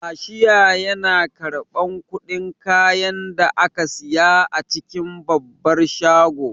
Kashiya yana karɓan kuɗin kayan da ake siya a cikin babbar shago